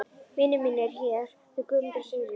Vinir mínir hér, þau Guðmundur og Sigríður.